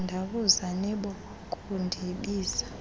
kuthandabuza nibo kundibiza